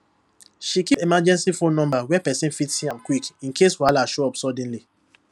she keep emergency phone numbers where person fit see am quick in case wahala show up suddenly